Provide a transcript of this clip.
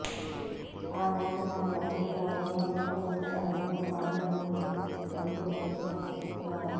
ఆనాటి తన ప్రసంగాల్లో తాను జగనన్న బాణాన్ని అంటూ ప్రతి చోట చెప్పేవారు